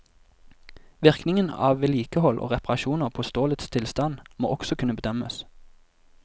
Virkningen av vedlikehold og reparasjoner på stålets tilstand må også kunne bedømmes.